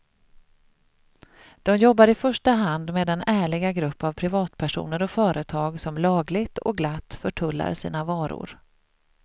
De jobbar i första hand med den ärliga grupp av privatpersoner och företag, som lagligt och glatt förtullar sina varor.